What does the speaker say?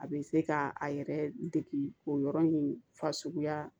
A bɛ se ka a yɛrɛ degi o yɔrɔ in fasuguya